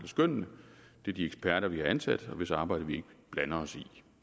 skønnene det er de eksperter vi har ansat og hvis arbejde vi ikke blander os i